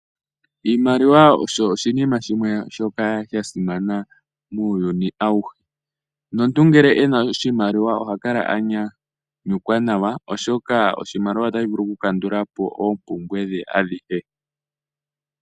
Oshimaliwa osho oshinima shimwe shono sha simana muuyuni awuhe. Omuntu ngele e na oshimaliwa oha kala a nyanyukwa nawa oshoka oshimaliwa otashi vulu okukandula po oompumbwe dhe adhihe.